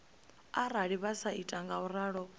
arali vha sa ita ngauralo